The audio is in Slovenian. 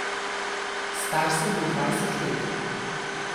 Star sem bil dvajset let.